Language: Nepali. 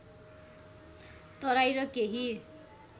तराई र केही